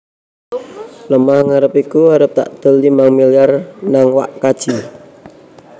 Lemah ngarep iku arep takdol limang miliar nang wak kaji